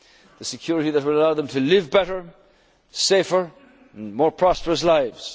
need security. The security that will allow them to live better, safer, and more prosperous